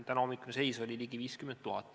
Tänahommikune seis oli ligi 50 000.